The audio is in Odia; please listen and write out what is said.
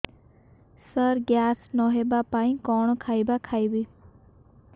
ସାର ଗ୍ୟାସ ନ ହେବା ପାଇଁ କଣ ଖାଇବା ଖାଇବି